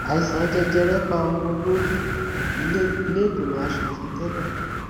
àìsàn jẹjẹrẹ pa ọmọ olórí ìlẹgbẹmọ asòfin tẹlẹ